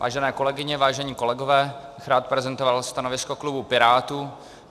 Vážené kolegyně, vážení kolegové, rád bych prezentoval stanovisko klubu Pirátů.